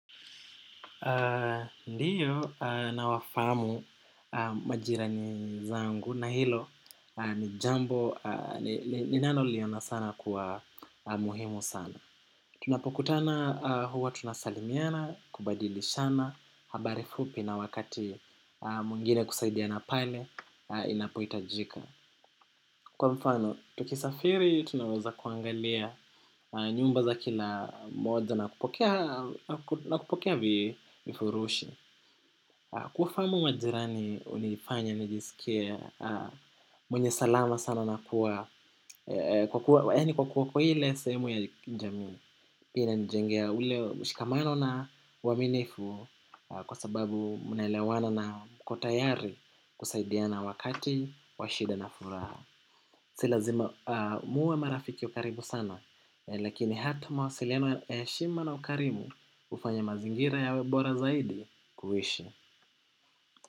Ndio nawafahamu majirani zangu na hilo ni jambo ninaloliona sana kwa muhimu sana. Tunapokutana huwa tunasalimiana, kubadilishana, habari fupi na wakati mwingine kusaidiana pale inapoitajika. Kwa mfano, tukisafiri tunaweza kuangalia nyumba za kila mmoja na kupokea. Na kupokea vifurushi kuwafahamu majirani ulifanya nijisikie mwenye salama sana na kuwa kwa yaani kuwa kwa ile sehemu ya jamii. Pia inanijengea ule mshikamano na waminifu. Kwa sababu mnaelewana na mko tayari kusaidiana wakati wa shida na furaha. Si lazima, muwe marafiki wa karibu sana. Lakini hata mawasiliano ya heshima na ukarimu hufanya mazingira yawe bora zaidi kuishi.